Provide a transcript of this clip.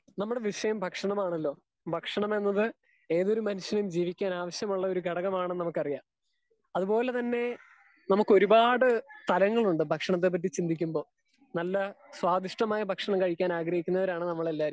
Speaker 2 നമ്മുടെ വിഷയം ഭക്ഷണമാണല്ലോ ഭക്ഷണമെന്നത് ഏതൊരു മനുഷ്യനും ജീവിക്കാനുള്ള ഒരു ഘടകമാണെന്ന് നമുക്ക് അറിയാം. അത് പോലെ തന്നെ നമുക്ക് ഒരുപാട് ഫലങ്ങളുണ്ട് ഭക്ഷണത്തെ പറ്റി ചിന്തിക്കുമ്പോൾ നല്ല സ്വദിഷ്ടമായ ഭക്ഷണം കഴിക്കാൻ ആഗ്രഹിക്കുന്നവരാണ് നമ്മൾ എല്ലാവരും.